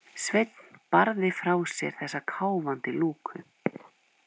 Sveinn barði frá sér þessa káfandi lúku.